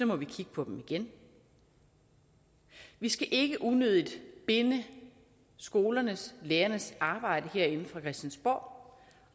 må vi kigge på dem igen vi skal ikke unødigt binde skolernes lærernes arbejde herinde fra christiansborg